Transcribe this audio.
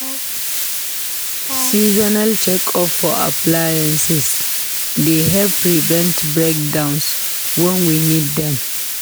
Seasonal check-up for appliances dey help prevent breakdowns when we need them.